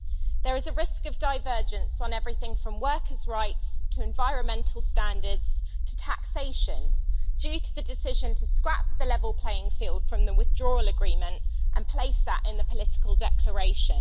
There is a risk of divergence on everything from workers' rights to environmental standards, to taxation, due to the decision to scrap the level playing field from the Withdrawal Agreement and place that in the political declaration.